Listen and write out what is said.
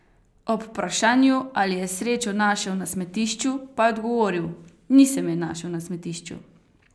Ob vprašanju, ali je srečo našel na smetišču, pa je odgovoril: "Nisem je našel na smetišču.